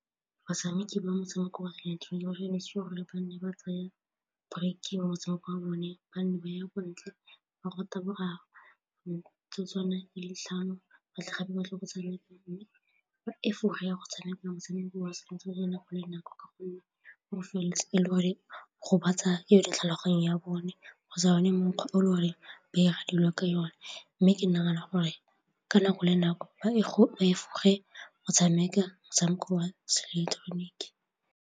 Batshameki ba motshameko wa gore ba nne ba tsaya break-e mo motshameko wa bone ba nne ba ya ko ntle ba ya go taboga boraro ditlhano ba tle gape ba tle go tshameka mme ba efoge ya go tshameka motshameko wa setso wa nako le nako ka gonne gore o feleletse e le gore o gobatsa yone tlhaloganyo ya bone go sa bone mokgwa o e le gore ba dilo ka yone mme ke nagana gore ka nako le nako e ba o tshameka motshameko wa seileketeroniki.